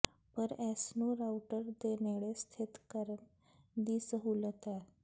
ਪਰ ਇਸ ਨੂੰ ਰਾਊਟਰ ਦੇ ਨੇੜੇ ਸਥਿਤ ਕਰਨ ਦੀ ਸਹੂਲਤ ਹੈ